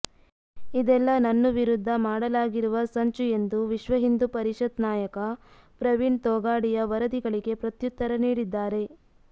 ಇದೆಲ್ಲ ನನ್ನು ವಿರುದ್ಧ ಮಾಡಲಾಗಿರುವ ಸಂಚು ಎಂದು ವಿಶ್ವ ಹಿಂದೂ ಪರಿಷತ್ ನಾಯಕ ಪ್ರವೀಣ್ ತೋಗಾಡಿಯಾ ವರದಿಗಳಿಗೆ ಪ್ರತ್ಯುತ್ತರ ನೀಡಿದ್ದಾರೆ